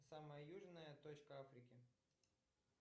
самая южная точка африки